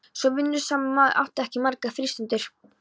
Svo vinnusamur maður átti ekki margar frístundir.